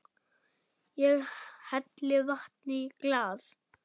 Ég helli vatni í glas.